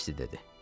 Kassi dedi.